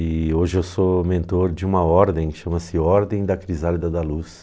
E hoje eu sou mentor de uma ordem que chama-se Ordem da Crisálida da Luz.